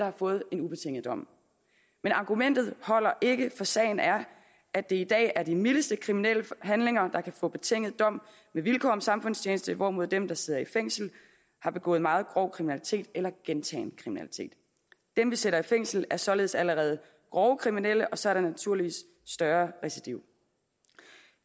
har fået en ubetinget dom men argumentet holder ikke for sagen er at det i dag er de mildeste kriminelle handlinger der kan få betinget dom med vilkår om samfundstjeneste hvorimod dem der sidder i fængsel har begået meget grov kriminalitet eller gentagen kriminalitet dem vi sætter i fængsel er således allerede grove kriminelle og så er der naturligvis større recidiv